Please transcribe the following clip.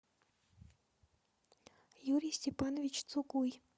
юрий степанович цукуй